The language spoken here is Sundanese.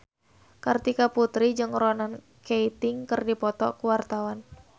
Kartika Putri jeung Ronan Keating keur dipoto ku wartawan